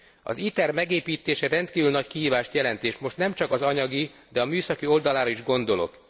Az ITER megépítése rendkívül nagy kihívást jelent, és most nem csak az anyagi, de a műszaki oldalára is gondolok.